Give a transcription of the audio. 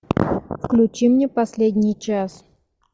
включи мне последний час